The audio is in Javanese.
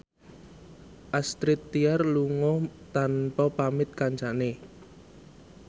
Astrid Tiar lunga tanpa pamit kancane